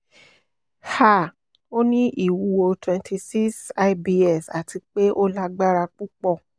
um o ni iwuwo twenty-six lbs ati pe o lagbara pupọ